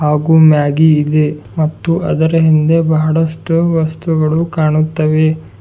ಹಾಗೂ ಮ್ಯಾಗಿ ಇದೆ ಮತ್ತು ಅದರ ಹಿಂದೆ ಬಹಳಷ್ಟು ವಸ್ತುಗಳು ಕಾಣುತ್ತವೆ.